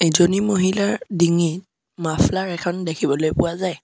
ইজনী মহিলাৰ ডিঙিত মাফ্লাৰ এখন দেখিবলৈ পোৱা যায়।